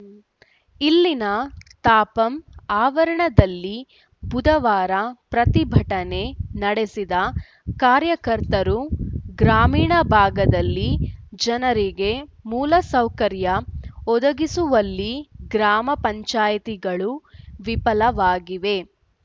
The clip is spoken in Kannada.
ಇಲ್ಲಿನ ತಾಪಂ ಆವರಣದಲ್ಲಿ ಬುಧವಾರ ಪ್ರತಿಭಟನೆ ನಡೆಸಿದ ಕಾರ್ಯಕರ್ತರು ಗ್ರಾಮೀಣ ಭಾಗದಲ್ಲಿ ಜನರಿಗೆ ಮೂಲಸೌಕರ್ಯ ಒದಗಿಸುವಲ್ಲಿ ಗ್ರಾಮ ಪಂಚಾಯ್ತಿಗಳು ವಿಫಲವಾಗಿವೆ